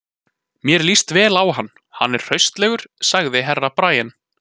Mér líst vel á hann, hann er hraustlegur, sagði Herra Brian.